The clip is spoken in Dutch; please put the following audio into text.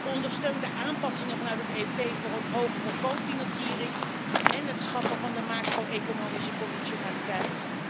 Ik ondersteun de aanpassingen vanuit het EP voor een hogere cofinanciering en het schrappen van de macro-economische conditionaliteit.